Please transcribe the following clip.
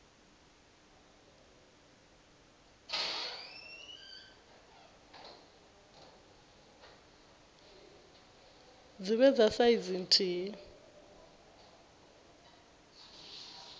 dzi vhe dza saizi nthihi